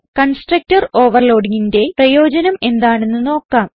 constructor overloadingന്റെ പ്രയോജനം എന്താണെന്ന് നോക്കാം